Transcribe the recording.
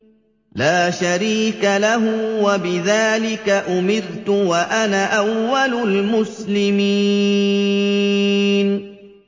لَا شَرِيكَ لَهُ ۖ وَبِذَٰلِكَ أُمِرْتُ وَأَنَا أَوَّلُ الْمُسْلِمِينَ